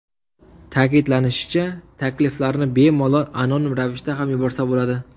Ta’kidlanishicha, takliflarni bemalol anonim ravishda ham yuborsa bo‘ladi.